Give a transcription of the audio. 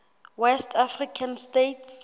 west african states